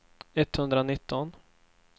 etthundranitton